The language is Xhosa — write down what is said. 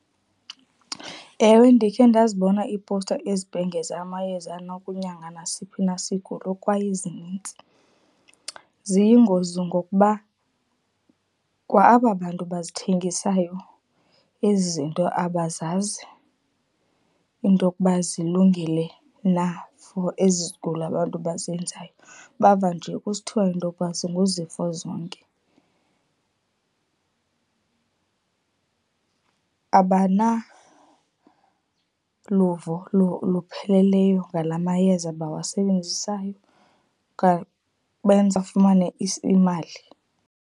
Ewe, ndikhe ndazibona iipowusta izibhengea amayeza anokunyanga nasiphi na isigulo kwaye zinintsi. Ziyingozi ngokuba kwa aba bantu bazithengisayo ezi zinto abazazi into okuba zilungile na for ezi zigulo abantu bazenzayo. Bava nje kusithiwa into okuba zinguzifo zonke. Abanaluvo lupheleleyo ngala mayeza bawasebenzisayo benza afumane imali.